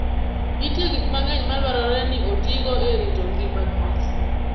Nitie gik mang'eny madwarore ni otigo e rito ngima kich.